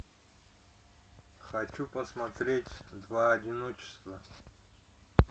хочу посмотреть два одиночества